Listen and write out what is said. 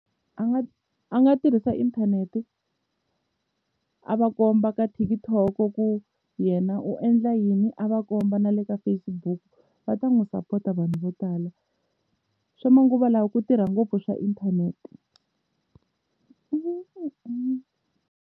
A nga a nga tirhisa inthanete a va komba ka TikTok ku yena u endla yini a va komba na le ka Facebook va ta n'wi sapota vanhu vo tala swa manguva lawa ku tirha ngopfu swa inthanete.